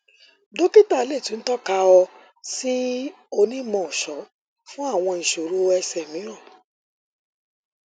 dokita le tun tọka ọ si onimọọṣọ fun awọn iṣoro ẹsẹ miiran